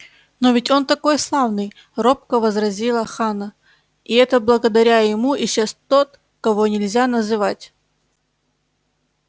но ведь он такой славный робко возразила ханна и это благодаря ему исчез тот кого нельзя называть